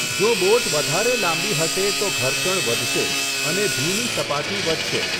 જો બોટ વધારે લાંબી હશે તો ઘર્ષણ વધશે અને ભીની સપાટી વધશે.